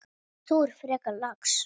Þú ert frekar lax.